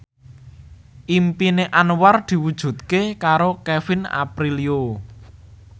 impine Anwar diwujudke karo Kevin Aprilio